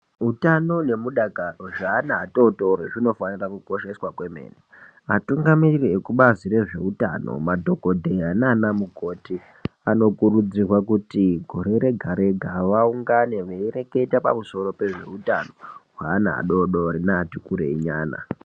Utano nemudakaro zveana atotori zvinofanira kukosheswa kwemene. Atungamiriri ekubazi rezveutano madhogodheya nana mukoti anokurudzirwa kuti gore rega-rega, vaungane veireketa pamusoro pezveutano hweana adodori neati kurei nyana.